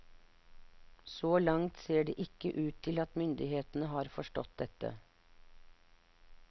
Så langt ser det ikke ut til at myndighetene har forstått dette.